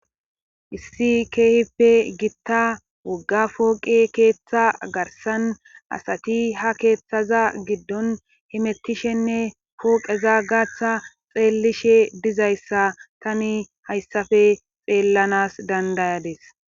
issi keehippe gitta wogga fooqe keeththa garsan asati ha keeththaza giddon himettishenne pooqeza gaaththa xeellishe dizayssa tani hayssafe xeellanas dandayades